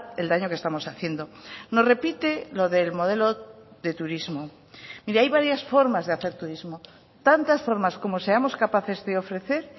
el daño que estamos haciendo nos repite lo del modelo de turismo mire hay varias formas de hacer turismo tantas formas como seamos capaces de ofrecer